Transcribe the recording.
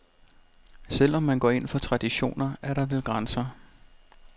Selv om man går ind for traditioner, er der vel grænser.